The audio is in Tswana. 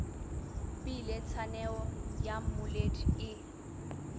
bile tshaneo ya mmoledi e